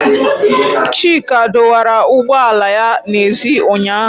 Chika dọwara ụgbọ ala ya n'èzí ụnyahụ.